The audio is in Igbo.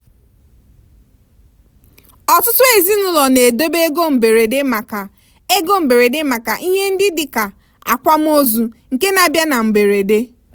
ọtụtụ ezinụlọ na-edobe ego mberede maka ego mberede maka ihe ndị dị ka akwamozu nke na-abịa na mberede.